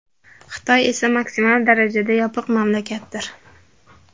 Xitoy esa maksimal darajada yopiq mamlakatdir.